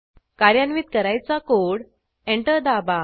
कार्यान्वित करायचा code enter दाबा